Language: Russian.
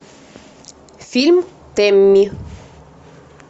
фильм тэмми